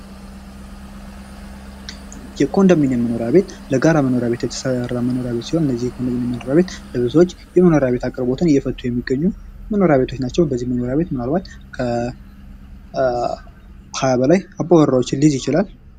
የኮንዶሚኒየም መኖሪያ ቤት ለጋራ መኖሪያ ቤት የተሰራ መኖሪያ ቤት ሲሆን እነዚህ የኮንዶሚኒየም መኖርያ ቤት ለብዙዎች የመኖሪያ ቤት አቅርቦትን እየፈቱ የሚገኙ መኖሪያ ቤቶች ናቸው:: እነዚህ መኖሪያ ቤት ምናልባትም ከ 20 በላይ አባወራዎችን ሊይዝ ይችላል ::